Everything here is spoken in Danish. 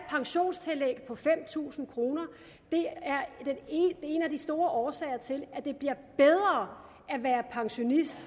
pensionstillæg på fem tusind kroner det er en af de store årsager til at det bliver bedre at være pensionist